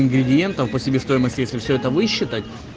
ингредиентов по себестоимости если все это высчитать